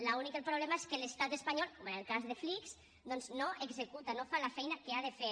l’únic problema és que l’estat espanyol com en el cas de flix no executa no fa la feina que ha de fer